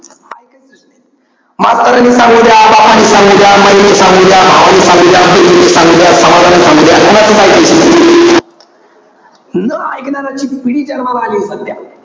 इकायचंच नाही. मास्तरांनी सांगू द्या. बापानी सांगू द्या. माईने सांगू द्या. भावाने सांगू द्या. बहिणीने सांगू द्या. समाजाने सांगू द्या. कोणाचंच इकायचं नाही. न एकनाऱ्याची पिढी जन्माला आलीय सध्या.